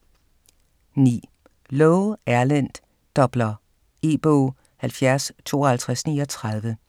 9. Loe, Erlend: Doppler E-bog 705239